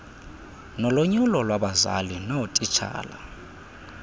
nolonyulo lwabazali loootitshala